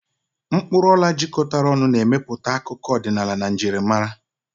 Mkpuru ola jikọtara ọnụ, na-emepụta akụkọ ọdịnala na njirimara.